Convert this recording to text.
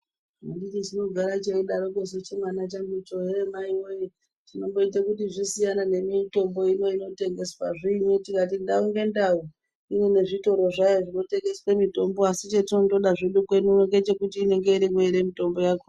Anditisu chinogara cheidarokwo chimwana changuchi hee maiwee chinomboite kuti Zvisiyane nemitombo ino inotengeswa zviin tikati ndau ngendau ine zvitoro zvayo zvinotengeswe mitombo asi chetinongoda kweeu uno ngechekuti inenge irimwo ere mitombo yakhona.